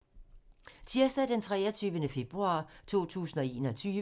Tirsdag d. 23. februar 2021